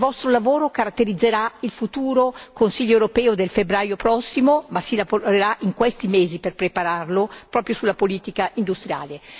Il vostro lavoro caratterizzerà il futuro Consiglio europeo del febbraio prossimo ma si elaborerà in questi mesi per prepararlo proprio sulla politica industriale.